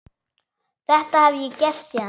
Þetta hef ég gert síðan.